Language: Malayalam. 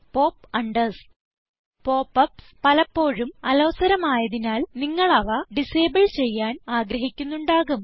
pop യുപിഎസ് പലപ്പോഴും അലോസരമായതിനാൽ നിങ്ങൾ അവ ഡിസേബിൾ ചെയ്യാൻ ആഗ്രഹിക്കുന്നുണ്ടാകും